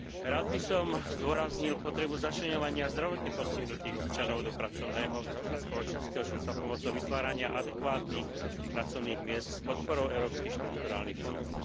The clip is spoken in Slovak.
Rád by som zdôraznil potrebu začleňovania zdravotne postihnutých občanov do pracovného a spoločenského života pomocou vytvárania adekvátnych pracovných miest s podporou európskych štrukturálnych fondov.